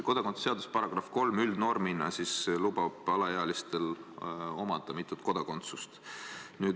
Kodakondsuse seaduse § 3 üldnormina lubab alaealistel omada mitut kodakondsust.